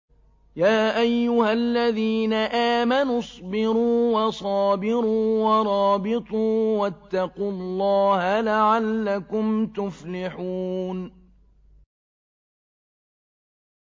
يَا أَيُّهَا الَّذِينَ آمَنُوا اصْبِرُوا وَصَابِرُوا وَرَابِطُوا وَاتَّقُوا اللَّهَ لَعَلَّكُمْ تُفْلِحُونَ